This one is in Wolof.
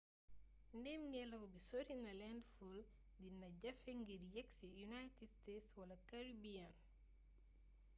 ndéémngélaw bi sorina landfull dina jafe ngir yéksi united states wala caribbean